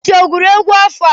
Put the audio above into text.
Dibanji ọ gụrụ egwu afọ a?